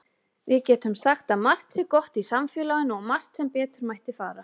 Við getum sagt að margt sé gott í samfélaginu og margt sem betur mætti fara.